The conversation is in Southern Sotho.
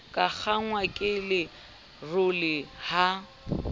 ka kgangwa ke lerole ha